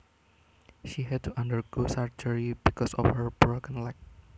She had to undergo surgery because of her broken leg